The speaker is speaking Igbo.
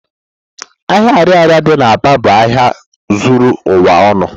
Ahia ariaria di n'Aba bu ahịa zuru ụwa ọnụ.